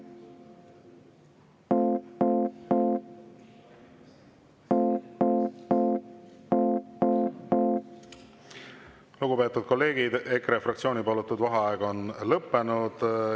Lugupeetud kolleegid, EKRE fraktsiooni palutud vaheaeg on lõppenud.